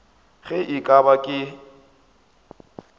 ge e ka ba ke